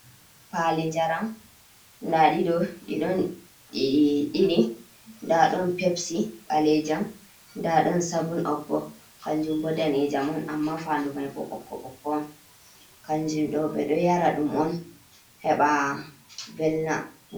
Paali njaram, ndaaɗiɗo ɗi ɗiɗii , nda ɗon pepsi ɓaleejam, nda ɗon sabun ob bo, kanjum bo daneejam on, amma faanndu may bo ɓokko ɓokko, kanjum ɗo ɓe ɗo yara ɗum on heɓa velna.